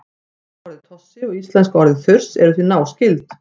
tökuorðið tossi og íslenska orðið þurs eru því náskyld